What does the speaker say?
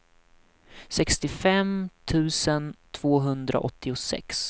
sextiofem tusen tvåhundraåttiosex